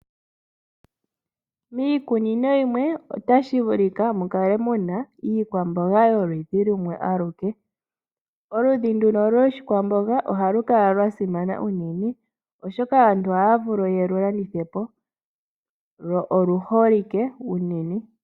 Miikunino yimwe otashi vulika mu kale mu na iikwamboga yoludhi lumwe aluke. Oludhi nduka lwoshikwamboga ohalu kala lwa simana unene, oshoka aantu ohaya vulu ye lu landithe po. Lwo oluholike unene.